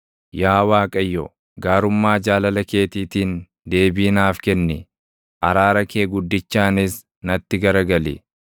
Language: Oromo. Yaa Waaqayyo, gaarummaa jaalala keetiitiin // deebii naaf kenni; araara kee guddichaanis natti garagali.